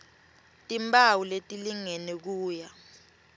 timphawu letilingene kuya